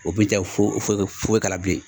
O bi kɛ k'a la bilen